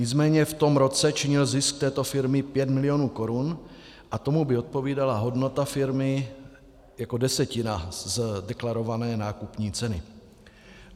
Nicméně v tom roce činil zisk této firmy pět milionů korun a tomu by odpovídala hodnota firmy jako desetina z deklarované nákupní ceny.